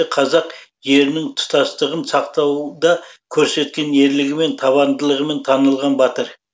қазақ жерінің тұтастығын сақтауда көрсеткен ерлігімен табандылығымен танылған батыр